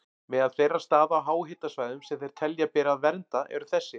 Meðal þeirra staða á háhitasvæðum sem þeir telja að beri að vernda eru þessir